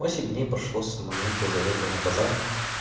восемь дней прошло с момента заезда на казарму